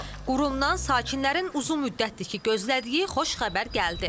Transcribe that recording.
Qurumdan sakinlərin uzun müddətdir ki, gözlədiyi xoş xəbər gəldi.